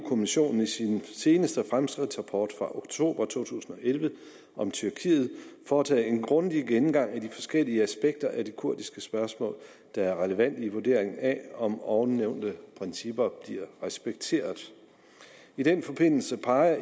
kommissionen i sin seneste fremskridtsrapport fra oktober to tusind og elleve om tyrkiet foretaget en grundig gennemgang af de forskellige aspekter af det kurdiske spørgsmål der er relevante i vurdering af om ovennævnte principper bliver respekteret i den forbindelse peger